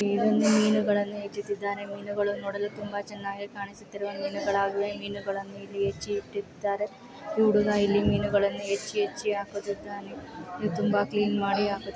ಇದನ್ನು ಮೀನುಗಳ್ಳನ್ನು ಹೆಚ್ಚ್ಚುತ್ತಿದ್ದಾರೆ. ಮೀನಗಳು ನೋಡಲು ತುಂಬಾ ಚೆನ್ನಾಗಿ ಕಾಣಿಸುತ್ತಿರುವೆ. ಮೀನಗಳಾಗಿರುವೆ. ಮೀನಗಳು ಇಲ್ ಹೆಚ್ಚಿ ಇಟ್ಟಿರ್ತಾರೆ. ಕೂಡುನಾ ಇಲ್ಲಿ ಮೀನುಗಳನ್ನು ಹೆಚ್ಚಿ ಹೆಚ್ಚಿ ಹಾಕುತ್ತಾನೆ. ಇದು ತುಂಬಾ ಕ್ಲೀನ್ ಮಾಡಿ ಹಾಕು --